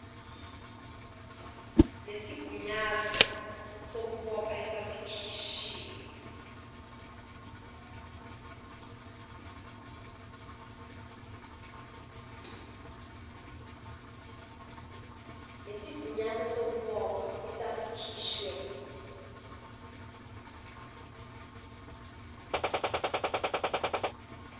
nesigunyaso sokubopha esasikhishwe